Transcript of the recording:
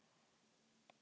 En það er nú önnur saga.